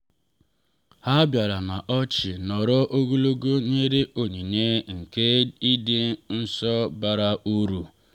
ha bịara na ọchị nọrọ ogologo nyere onyinye nke ịdị nso bara uru.